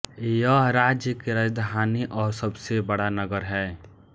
यह राज्य की राजधानी और सबसे बड़ा नगर है